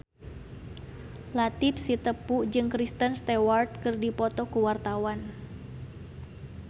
Latief Sitepu jeung Kristen Stewart keur dipoto ku wartawan